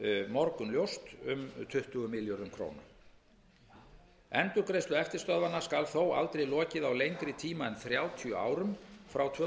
morgunljóst um tuttugu milljörðum króna endurgreiðslu eftirstöðvanna skal þó aldrei lokið á lengri tíma en þrjátíu árum frá tvö þúsund og